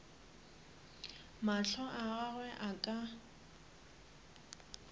mahlo a gagwe a ka